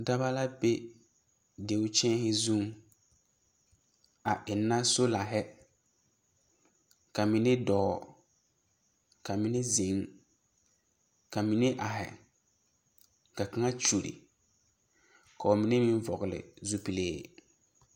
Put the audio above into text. Daba la be deu kyԑԑhe zuŋ, a enna solahe, ka mine dͻͻ ka mine zeŋ ka mine ahe ka kaŋa kyuri ka ba mine meŋ vͻgele zupilee.